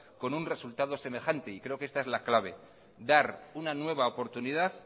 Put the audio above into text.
con un resultado semejante creo que esta es la clave dar una nueva oportunidad